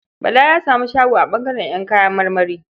Bala ya samu shago a ɓangaren ƴan kayan marmari.